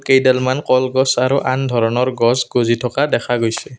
কেইডালমন কলগছ আৰু আন ধৰণৰ গছ গজি থকা দেখা গৈছে।